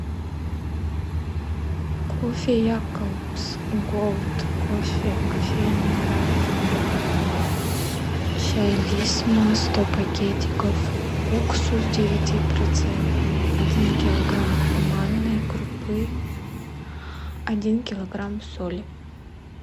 кофе якобс голд кофе кофейня арабика чай лисма сто пакетиков уксус девятипроцентный один килограмм манной крупы один килограмм соли